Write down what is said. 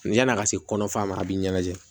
Ni yan'a ka se kɔnɔfara ma a bɛ ɲɛnajɛ